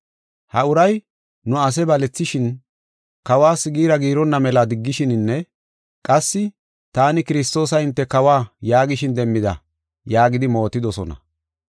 “Ha uray nu asaa balethishin, kawas giira giironna mela diggishininne qassi, ‘Taani Kiristoosa hinte kawa’ yaagishin demmida” yaagidi mootidosona.